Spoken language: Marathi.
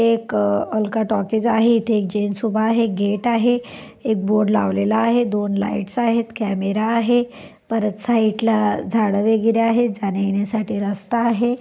एक अ अलका टॉकीज आहे इथे एक जेन्ट्स उभा आहे गेट आहे एक बोर्ड लावलेला आहे दोन लाईट्स आहेत कैमरा आहे परत साईटला झाडं वगैरे आहे जाण्यायेण्यासाठी रस्ता आहे.